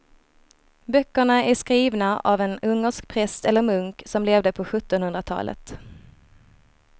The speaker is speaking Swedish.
Böckerna är skrivna av en ungersk präst eller munk som levde på sjuttonhundratalet.